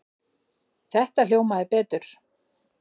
Þetta hljómaði betur.